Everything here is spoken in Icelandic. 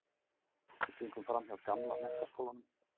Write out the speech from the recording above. Við gengum framhjá gamla menntaskólanum